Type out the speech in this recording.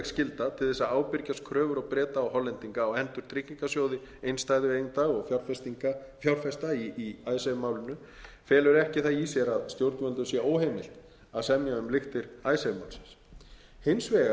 skylda til þess að ábyrgjast kröfur breskra og hollenskra stjórnvalda á hendur tryggingarsjóði innstæðueigenda og fjárfesta í icesave málinu felur ekki í sér að stjórnvöldum sé óheimilt að semja um lyktir icesave málsins hins vegar telja